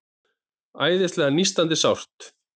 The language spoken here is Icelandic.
Æðislega nístandi sárt.